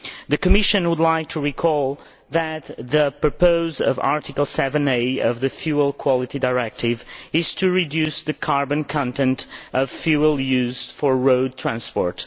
The Commission would like to recall that the purpose of Article 7a of the Fuel Quality Directive is to reduce the carbon content of fuel used for road transport.